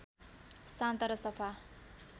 शान्त र सफा